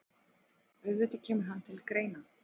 Auðvitað kemur hann til greina.